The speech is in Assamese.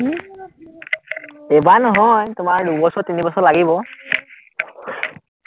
এইবাৰ নহয়, তোমাৰ দুবছৰ-তিনিবছৰ লাগিব